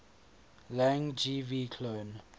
lang gv cloan